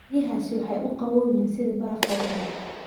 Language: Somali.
Biyahaasi waxay u qabow yihiin sida barafka oo kale.